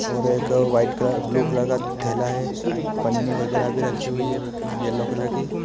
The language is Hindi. और एक व्हाइट कलर ब्लू कलर का थैला है। पन्नी रखी हुई हैं येलो कलर की।